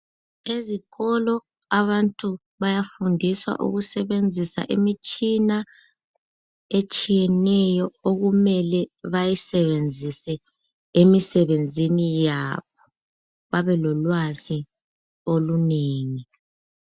Ezikolo abantu bayafundiswa ukusebenziza imitshina etshiyeneyo okumele bayisebenzise emsebenzini yabo, babe lolwazi olunengi.